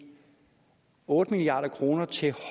otte milliard kroner til